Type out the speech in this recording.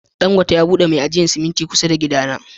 Dangote ya bude mai ajiyan siminti kusa da gida na.